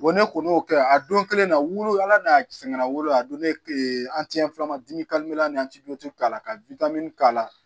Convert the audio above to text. ne kɔni y'o kɛ a don kelen na wolo ala n'a sɛgɛnna wo a don ne fila k'a la ka k'a la